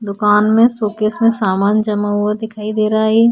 दूकान में शोकेस में सामान जमा हुआ दिखाई दे रहा है ये।